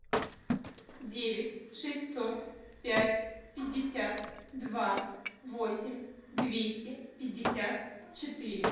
девять шестьсот пять пятьдесят два восемь двести пятьдесят четыре